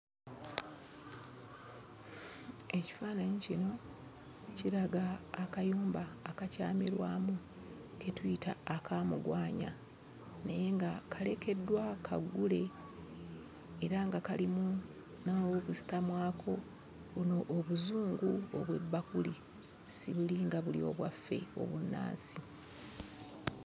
Ekifaananyi kino kiraga akayumba akakyamirwamu ke tuyita akaamugwanya naye nga kalekeddwa kaggule era nga kalimu n'aw'okusitamwako buno obuzungu obw'ebbakuli, si buli nga buli obwaffe obunnansi.